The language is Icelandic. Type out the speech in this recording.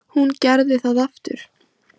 Hún gerði það aftur!